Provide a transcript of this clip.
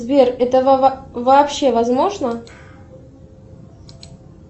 сбер это вообще возможно